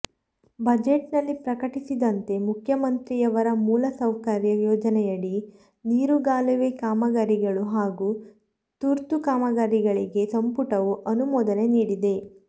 budget ನಲ್ಲಿ ಪ್ರಕಟಿಸಿದಂತೆ ಮುಖ್ಯಮಂತ್ರಿಯವರ ಮೂಲ ಸೌಕರ್ಯ ಯೋಜನೆಯಡಿ ನೀರುಗಾಲುವೆ ಕಾಮಗಾರಿಗಳು ಹಾಗೂ ತುರ್ತು ಕಾಮಗಾರಿಗಳಿಗೆ ಸಂಪುಟವು ಅನುಮೋದನೆ ನೀಡಿದೆ